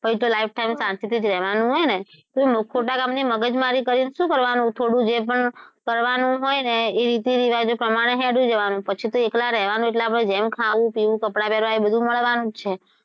પછી તો lifetime શાંતિથી જ રહેવાનું છે ને તો ખોટા કામની મગજમારી કરીને શું કરવાનું થોડું જે પણ કરવાનું હોય ને એ રીતી - રીવાજો પ્રમાણે હેડ્યું જવાનું પછી તો એકલા રહેવાનું એટલે આપડે જેમ ખાવું- પીવું, કપડા પહેરવાં એ બધું મળવાનું જ છે.